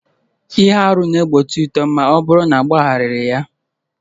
Ihe arụ na-egbochi uto ma ọ bụrụ na agbagharaghị ya